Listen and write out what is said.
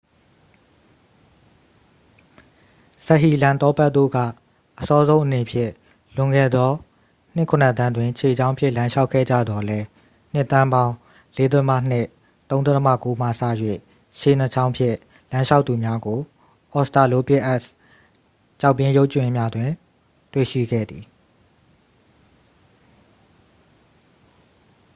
စဟီလမ်သောပက် တို့က အစောဆုံးအနေဖြင့် လွန်ခဲ့သော နှစ်ခုနစ်သန်းတွင် ခြေနှစ်ချောင်းဖြင့် လမ်းလျှောက်ခဲ့ကြသော်လည်း နှစ်သန်းပေါင်း ၄.၂-၃.၉ မှစ၍ ခြေနှစ်ချောင်းဖြင့် လမ်းလျှောက်သူများကို အော်စတာလိုပစ်အက်စ် ကျောက်ဖြစ်ရုပ်ကြွင်းများတွင် တွေ့ရှိခဲ့သည်။